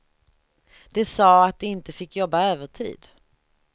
De sa att de inte fick jobba övertid.